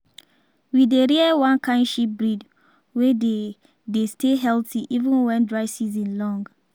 we dey rear one kind sheep breed wey dey dey stay healthy even when dry season long.